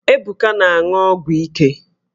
Ebuka na-aṅụ ọgwụ ike